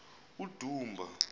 udumba